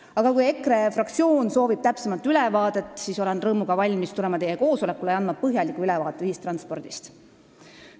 Aga kui EKRE fraktsioon soovib täpsemat ülevaadet, siis olen rõõmuga valmis tulema teie koosolekule ja andma ühistranspordist põhjaliku ülevaate.